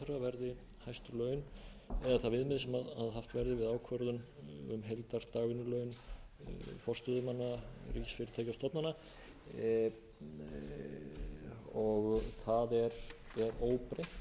verði það viðmið sem haft verið við ákvörðun um heilsdags dagvinnulaun forstöðumanna ríkisfyrirtækja og stofnana það er óbreytt þar er sett